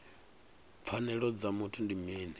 pfanelo dza muthu ndi mini